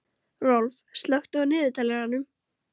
Rolf, slökktu á niðurteljaranum.